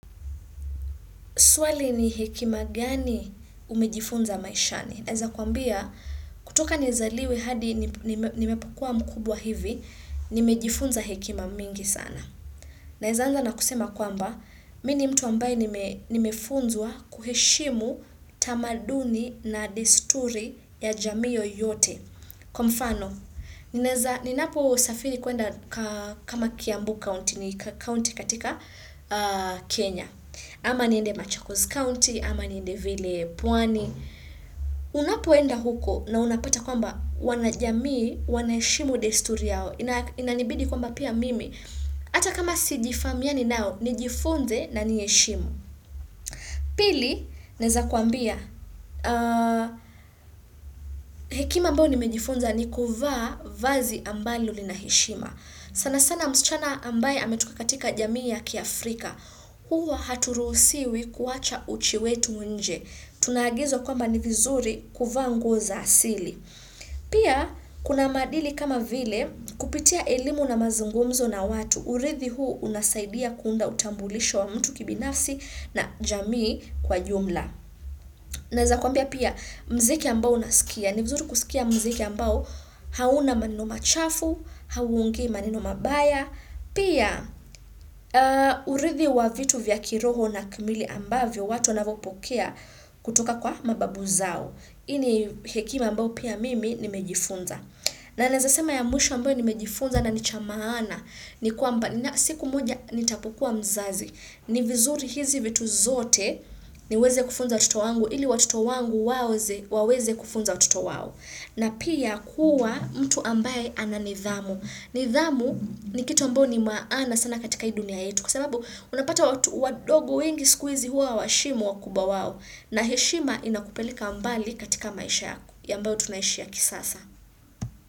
Swali ni hekima gani umejifunza maishani? Naeza kuambia, kutoka nizaliwe hadi nimepokua mkubwa hivi, nimejifunza hekima mingi sana. Naeza anza na kusema kwamba, mini mtu ambaye nimefunzwa kuheshimu tamaduni na desturi ya jamii yoyote. Kwa mfano, ninaposafiri kuenda kama Kiambu County ni County katika Kenya. Ama niende Machakos County, ama niende vile pwani. Unapoenda huko na unapata kwamba wanajamii, wanaheshimu desturi yao. Inanibidi kwamba pia mimi. Ata kama sijifamiani nao, nijifunze na niheshimu. Pili, naeza kuambia, hekima ambao nimejifunza ni kuvaa vazi ambalo lina heshima. Sana sana msichana ambaye ametoka katika jamii ya kiAfrika. Huwa haturuhusiwi kuwacha uchi wetu nje. Tunagizwa kwamba ni vizuri kuvaa nguo za asili. Pia kuna maadili kama vile kupitia elimu na mazungumzo na watu. Urithi huu unasaidia kuunda utambulisho wa mtu kibinafsi na jamii kwa jumla. Naweza kuambia pia mziki ambao nasikia. Ni vizuri kusikia mziki ambao hauna maneno machafu, hauongei maneno mabaya. Pia urithi wa vitu vya kiroho na kimwili ambavyo watu wanavyopokea kutoka kwa mababu zao. Ini hekima ambao pia mimi nimejifunza. Na naeza sema ya mwisho ambayo nimejifunza na ni cha maana ni kwamba siku moja nitapokua mzazi. Ni vizuri hizi vitu zote niweze kufunza watoto wangu ili watoto wangu waweze kufunza watoto wao. Na pia kuwa mtu ambaye ananidhamu. Nidhamu ni kitu ambayo ni maana sana katika hii dunia yetu kwa sababu unapata watu wa dogo wengi sikuizi huwa hawaheshimu wa kubwa wao. Na heshima inakupeleka mbali katika maisha yako ambayo tunaishi ya kisasa.